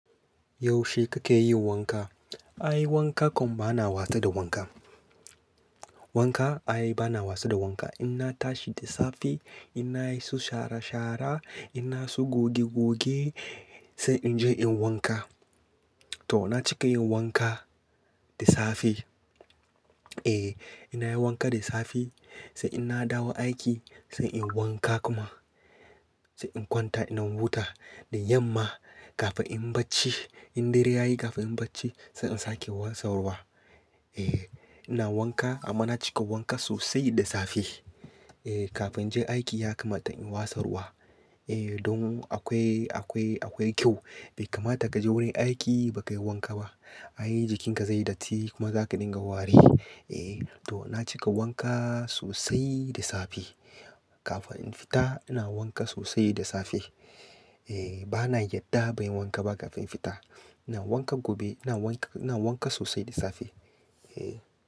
Yaushe kake yi wanka? Ai wanka kam bana wasa da wanka. Wanka ai bana wasa da wanka. In tashi da safe, in na yi su shara-shara, ina su goge-goge sai in je in wanka. To na cika yin wanka da safe. Eh ina yin wanka da safe sai in na dawo aiki sai in wanka kuma sai in kwanta in huta. Da yamma kafin in bacci in dare ya yi kafin in bacci sai in sake watsa ruwa. Eh ina wanka amma na cika wanka sosai da safe. Eh kafin in je aiki yakamata in watsa ruwa. Eh don akwai, akwai, akwai kyau. Bai kamata ka je wurin aiki bakai wanka ba. Ai jikinka zai yi datti kuma za ka dinga ware. Eh to na cika wanka sosai da safe. Kafin in fita ina wanka sosai da safe. Eh bana yarda ban yi wanka ba kafin fita. Ina wanka gobe, ina wanka, ina wanka sosai da safe. Eh.